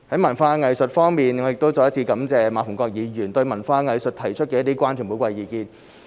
文化藝術我再一次感謝馬逢國議員對文化藝術提出的關注和寶貴意見。